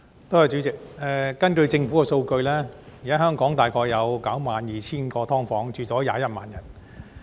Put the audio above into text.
代理主席，根據政府的數據，現時香港大概有 92,000 個"劏房"，居住人數為21萬人。